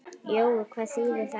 Jói, hvað þýðir þetta?